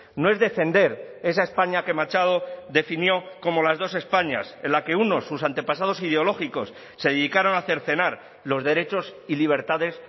no es defender esa españa que machado definió como las dos españas en la que uno sus antepasados ideológicos se dedicaron a cercenar los derechos y libertades